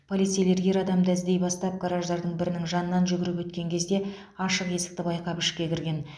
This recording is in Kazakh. полицейлер ер адамды іздей бастап гараждардың бірінің жанынан жүгіріп өткен кезде ашық есікті байқап ішке кірген